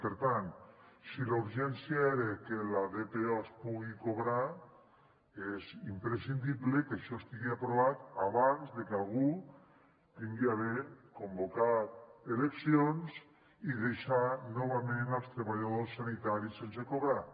per tant si la urgència era que la dpo es pugui cobrar és imprescindible que això estigui aprovat abans que algú hagi de convocar eleccions i deixar novament els treballadors sanitaris sense cobrar